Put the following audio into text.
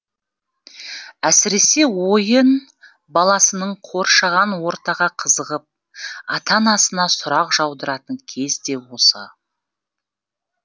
әсіресе ойын баласының қоршаған ортаға қызығып ата анасына сұрақ жаудыратын кез де осы